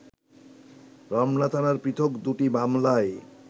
রমনা থানার পৃথক দুটি মামলায়